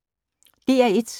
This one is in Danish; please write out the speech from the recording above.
DR1